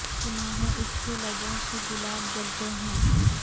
سنا ہے اس کے لبوں سے گلاب جلتے ہیں